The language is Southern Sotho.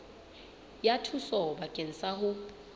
ya thuso bakeng sa ho